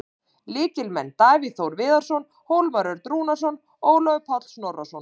Lykilmenn: Davíð Þór Viðarsson, Hólmar Örn Rúnarsson og Ólafur Páll Snorrason.